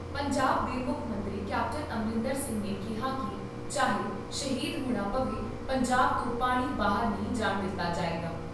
ਪੰਜਾਬ ਦੇ ਮੁੱਖ ਮੰਤਰੀ ਕੈਪਟਨ ਅਮਰਿੰਦਰ ਸਿੰਘ ਨੇ ਕਿਹਾ ਕਿ ਚਾਹੇ ' ਸ਼ਹੀਦ ' ਹੋਣਾ ਪਵੇ, ਪੰਜਾਬ ਤੋਂ ਪਾਣੀ ਬਾਹਰ ਨਹੀਂ ਜਾਣ ਦਿੱਤਾ ਜਾਏਗਾ।